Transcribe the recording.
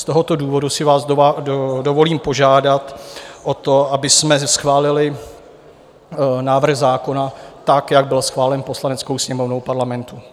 Z tohoto důvodu si vás dovolím požádat o to, abychom zde schválili návrh zákona tak, jak byl schválen Poslaneckou sněmovnou Parlamentu.